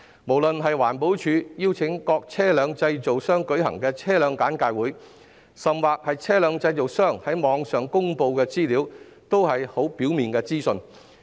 不論是環保署邀請各車輛製造商舉行的車輛簡介會，甚或是車輛製造商在網上公布的資料，均只提供很表面的資訊。